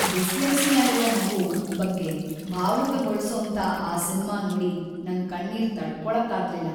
Dyslexia ಇರೋ ಮಗು ಬಗ್ಗೆ ಭಾವುಕಗೊಳ್ಸೋಂಥ ಆ ಸಿನ್ಮಾ ನೋಡಿ ನಂಗ್‌ ಕಣ್ಣೀರ್‌ ತಡ್ಕೊಳಕ್ಕಾಗ್ಲಿಲ್ಲ.